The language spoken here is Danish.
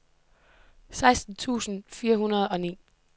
seksten tusind fire hundrede og ni